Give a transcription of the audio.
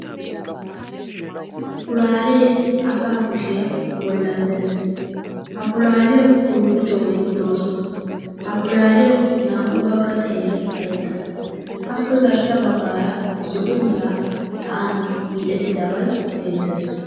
pulaalee asa kushiyaa bollan dees. ha pulaaliyawu oyddu xoo"eti doosona, ha pulaaliyawu naa"u bagga xeeray karetta. appe garssa bagara zo"o mera sa"an hiixxettabay beettees